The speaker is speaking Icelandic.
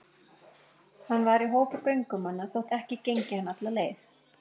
Hann var í hópi göngumanna þótt ekki gengi hann alla leið.